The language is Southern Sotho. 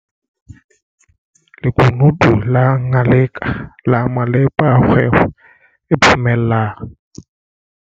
Lekunutu la Ngaleka la malepa a kgwebo e phomellang.